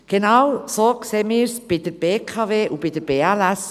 Genauso sehen wir es bei der Bernischen Kraftwerke AG (BKW AG) und bei der BLS AG.